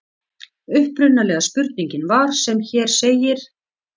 Upprunalega spurningin var sem hér segir: